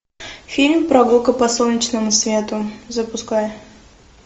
фильм прогулка по солнечному свету запускай